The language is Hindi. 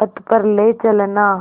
पथ पर ले चलना